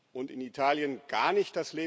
und in Italien gar nicht?